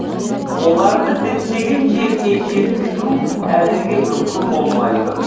оларды діттеген жеріне жеткізу әзірге мүмкін болмай тұр